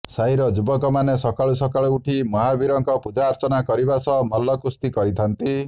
ସାହିର ଯୁବକମାନେ ସକାଳୁ ସକାଳୁ ଉଠି ମହାବୀରଙ୍କ ପୂଜାର୍ଚ୍ଚନା କରିବା ସହ ମଲ୍ଲ କୁସ୍ତି କରିଥାନ୍ତି